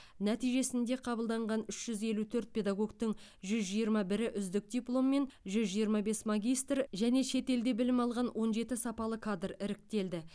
нәтижесінде қабылданған үш жүз елу төрт педагогтың жүз жиырма бірі үздік дипломмен жүз жиырма бес магистр және шет елде білім алған он жеті сапалы кадр іріктелді